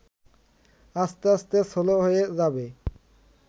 আস্তে আস্তে স্লো হয়ে যাবে